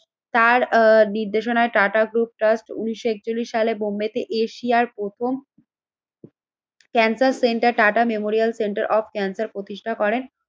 তারা নির্দেশনা Tata group trust উন্নিশশো একচল্লিশ সালে বোম্বেতে এশিয়ার প্রথম cancer centre Tata memorial centre of cancer প্রতিষ্ঠা করেন।